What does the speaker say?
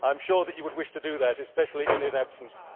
I am sure that you would wish to do that, especially in his absence.